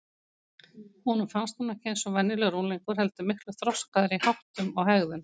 Honum fannst hún ekki eins og venjulegur unglingur heldur miklu þroskaðri í háttum og hegðun.